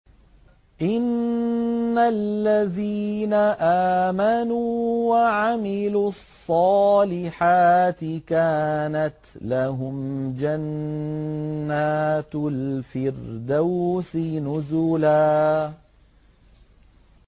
إِنَّ الَّذِينَ آمَنُوا وَعَمِلُوا الصَّالِحَاتِ كَانَتْ لَهُمْ جَنَّاتُ الْفِرْدَوْسِ نُزُلًا